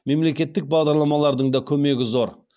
мемлекеттік бағдарламалардың да көмегі зор